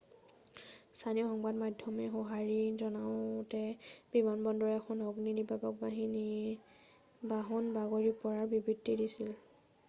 স্থানীয় সংবাদ মাধ্যমে সঁহাৰি জনাওতে বিমানবন্দৰৰ এখন অগ্নি নিৰ্বাপক বাহন বাগৰি পৰাৰ বৃত্তান্ত দিছিল